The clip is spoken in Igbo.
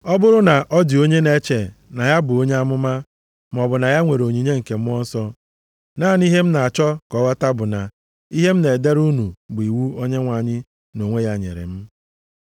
Ọ bụrụ na ọ dị onye na-eche na ya bụ onye amụma, maọbụ na ya nwere onyinye nke Mmụọ Nsọ, naanị ihe m na-achọ ka ọ ghọta bụ na ihe m na-edere unu bụ iwu Onyenwe anyị nʼonwe ya nyere m.